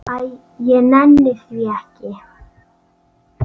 Æ, ég nenni því ekki.